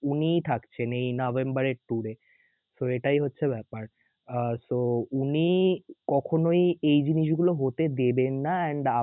উনিই থাকছেন এই November এর tour এ. তো এটাই হচ্ছে ব্যাপার. আর তো উনি কখনই এই জিনিসগুলো হতে দেবেন না and